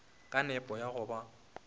ka nepo ya go ba